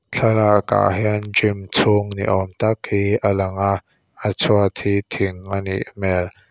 thlalak ah hian gym chhung ni awm tak hi a lang a a chhuat hi thing a nih hmel.